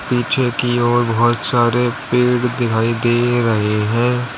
पीछे कि ओर बहुत सारे पेड़ दिखाई दे रहे हैं।